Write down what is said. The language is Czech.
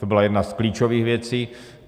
To byla jedna z klíčových věcí.